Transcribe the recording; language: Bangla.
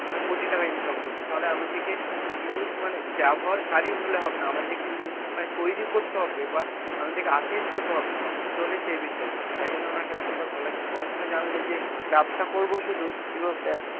মানে কোটি টাকা income করছে তাহলে আমাদেরকে use মানে ব্যবহারকারী হলে হবে না আমাদেরকে মানে তৈরি করতে হবে বা আমাদেরকে artist হতে হবে বুঝতে পারলি সেই বিষয়, তার জন্য আমার একটা কথা বলা যে পড়াশোনা জানলে যে ব্যবসা করব শুধু,